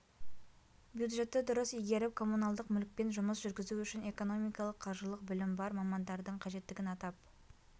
бюджетті дұрыс игеріп коммуналдық мүлікпен жұмыс жүргізу үшін экономикалық қаржылық білім бар мамандардың қажеттігін атап